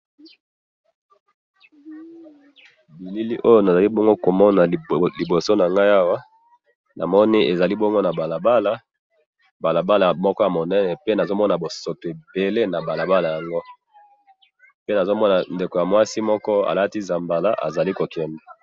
bilili nazali komona liboso na ngai awa ,namoni ezali bongo na balabala ,balabala moko ya monene pe nazo mona bosoto ebele na balabala yango, pe nazomona ndeko ya mwasi moko alati zambala azali ko kende